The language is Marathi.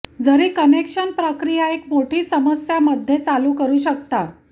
जरी कनेक्शन प्रक्रिया एक मोठी समस्या मध्ये चालू करू शकता